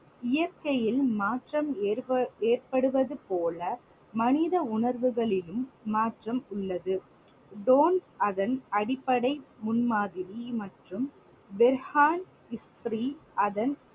இயற்கையில் மாற்றம் ஏற்ப~ ஏற்படுவது போல மனித உணர்வுகளிலும் மாற்றம் உள்ளது. தோன் அதன் அடிப்படை முன் மாதிரி மற்றும் அதன்